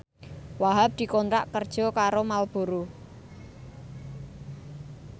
Wahhab dikontrak kerja karo Marlboro